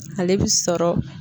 Ale bi sɔrɔ.